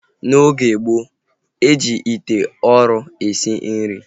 N'oge gboo, e ji ite ụrọ esi nri